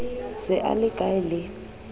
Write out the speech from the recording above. se a le hkae le